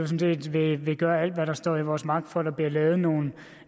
set vil gøre alt hvad der står i vores magt for at der bliver lavet nogle